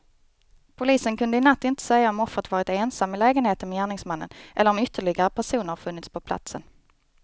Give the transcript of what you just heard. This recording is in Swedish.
Polisen kunde i natt inte säga om offret varit ensam i lägenheten med gärningsmännen eller om ytterligare personer funnits på platsen.